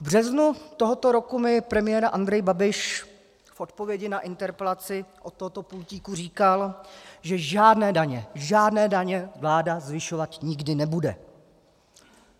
V březnu tohoto roku mi premiér Andrej Babiš v odpovědi na interpelaci od tohoto pultíku říkal, že žádné daně, žádné daně vláda zvyšovat nikdy nebude.